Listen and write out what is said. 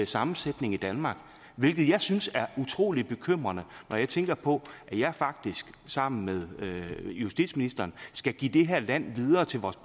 sammensætning i danmark hvilket jeg synes er utrolig bekymrende når jeg tænker på at jeg faktisk sammen med justitsministeren skal give det her land videre til vores